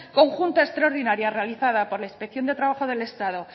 conjunta extraordinaria realizada por la inspección de trabajo del estado